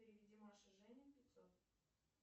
переведи маше жене пятьсот